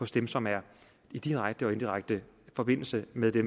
dem som er i direkte og indirekte forbindelse med det